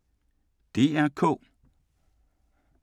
DR K